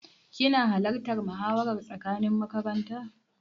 Kina halartan muhawara tsakanin makaranta?